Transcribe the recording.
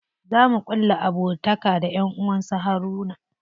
Za mu ƙulla abokantaka da ƴan gidan su Haruna.